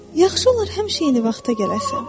Yaxşı olar həmişə eyni vaxta gələsən.